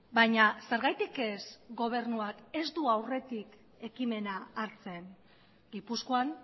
baina zergatik ez gobernuak ez du aurretik ekimena hartzen gipuzkoan